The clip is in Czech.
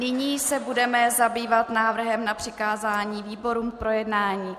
Nyní se budeme zabývat návrhem na přikázání výborům k projednání.